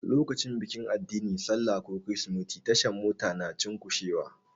Lokacin bikin addini, sallah ko kirsimeti, tashar Mota na cushewa.